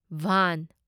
van